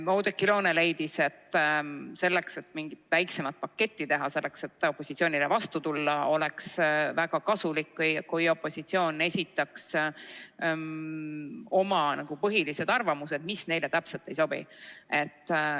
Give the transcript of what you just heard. Oudekki Loone leidis, et selleks, et mingit väiksemat paketti teha, selleks et opositsioonile vastu tulla, oleks väga kasulik, kui opositsioon esitaks oma põhilised seisukohad, mis neile täpselt ei sobi.